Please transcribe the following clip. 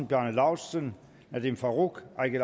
bjarne laustsen nadeem farooq eigil